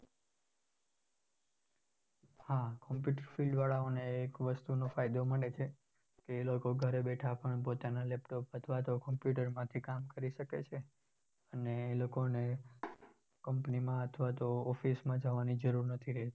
હા computer field વાળાઓને એક વસ્તુનો ફાયદો મળે છે ક એ લોકો ઘરે બેઠા પણ પોતાન laptop અથવા computer માંથી કામ કરી શકે છે અને એ લોકોને company માં અથવા તો office માં જવાની જરૂર નથી રહેતી.